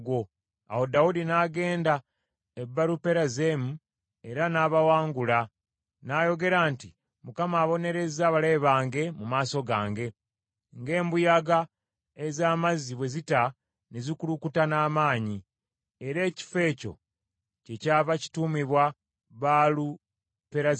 Awo Dawudi n’agenda e Baaluperazimu, era n’abawangula. N’ayogera nti, “ Mukama abonerezza abalabe bange mu maaso gange, ng’embuyaga ez’amazzi bwe zita ne zikulukuta n’amaanyi.” Era ekifo ekyo kyekyava kituumibwa Baaluperazimu.